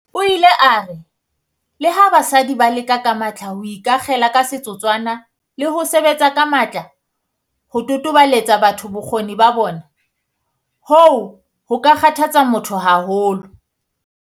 O ile a re, "Leha basadi ba leka ka matla ho ikakgela ka setotswana le ho sebetsa ka matla ho totobaletsa batho bokgoni ba bona, hoo ho ka kgathatsa motho haholo."